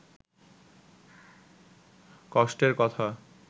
কষ্টের কথা